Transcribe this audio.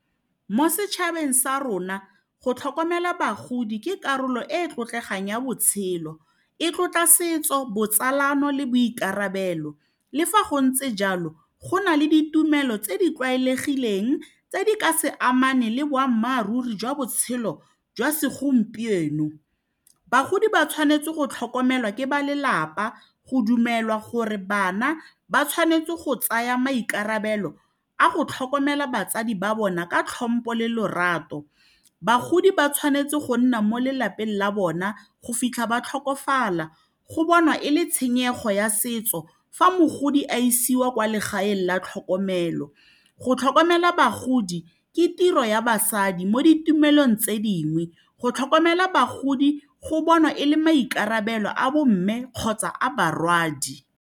Mo setšhabeng sa rona go tlhokomela bagodi ke karolo e e tlotlegang ya botshelo e tlotla setso, botsalano le boikarabelo le fa go ntse jalo go na le ditumelo tse di tlwaelegileng tse di ka se amane le boammaaruri jwa botshelo jwa segompieno, bagodi ba tshwanetse go tlhokomelwa ke ba lelapa go dumelwa gore bana ba tshwanetse go tsaya maikarabelo a go tlhokomela batsadi ba bona ka tlhompo le lorato bagodi ba tshwanetse go nna mo lelapeng la bona go fitlha ba tlhokofala go bonwa e le tshenyego ya setso fa mogodi a isiwa kwa legaeng la tlhokomelo go tlhokomela bagodi ke tiro ya basadi mo ditumelong tse dingwe go tlhokomela bagodi go bonwa e le maikarabelo a bo mme kgotsa a barwadi.